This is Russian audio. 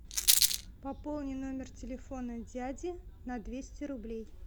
пополни номер телефона дяди на двести рублей